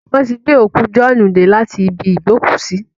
Wọ́n ti gbé òkú Jọ̀ọ́ọ́nù dé láti ibi ìgbókùúsí